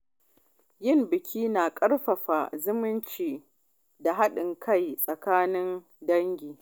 Yin biki na ƙarfafa zumunci da haɗin kai tsakanin dangi.